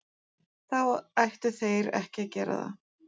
Þá ættu þeir ekki að gera það.